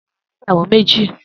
Dayo ni Ìyáwó mèji